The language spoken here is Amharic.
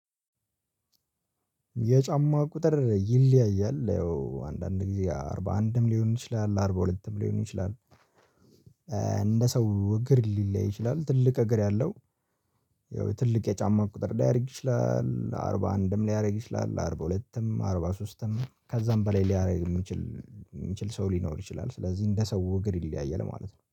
የጫማ ቁጥር ይለያያል ያው አንዳንድ ጊዜ አርባ አንድም ሊሆን ይችላል አርባ ሁለትም ሊሆን ይችላል። እንደ ሰው እግር ሊለያይ ይችላል ትልቅ እግር ያለው። ያው ትልቅ የጫማ ቁጥር ሊያደርግ ይችላል አርባ አንድም ሊያደርግ ይችላል አርባ ሁለትም አርባ ሦስትም ከዛም በላይ ሊያደርግ የሚችል የሚችል ሰው ሊኖር ይችላል። ስለዚህ እንደ ሰው እግር ይለያያል ማለት ነው